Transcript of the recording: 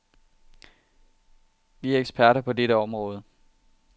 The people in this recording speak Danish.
Vi er eksperter på dette område.